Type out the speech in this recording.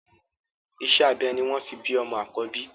Iṣẹ́ abẹ ni wọ́n fi bí ọmọ àkọ́bí